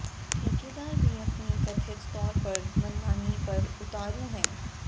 ठेकेदार भी अपनी कथित तौर पर मनमानी पर उतारू हैं